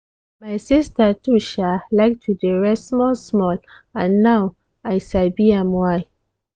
my sister too um like to dey rest small-small and now i sabi um why.